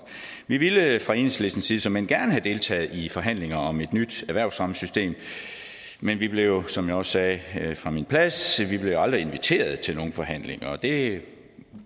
vi ville fra enhedslistens side såmænd gerne have deltaget i forhandlinger om et nyt erhvervsfremmesystem men vi blev som jeg også sagde fra min plads aldrig inviteret til nogen forhandlinger og det